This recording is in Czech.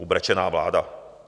Ubrečená vláda.